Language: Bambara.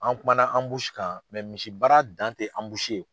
An kumana kan misi baara dan tɛ ye.